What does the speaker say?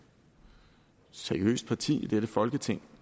seriøst parti i dette folketing